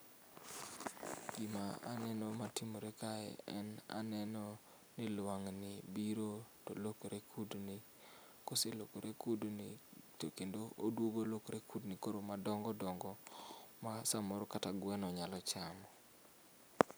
Gima aneno matimore kae en aneno ni lwangni biro to lokore kudni koselokore kudni to kendo oduogo olokore kudni koro madongo dongo ma samoro kata gweno nyalo chamo